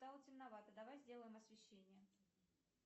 стало темновато давай сделаем освещение